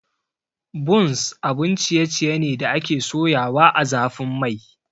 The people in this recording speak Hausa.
Buns abun ciye ciye ne da ake soyawa ã zafin Mai.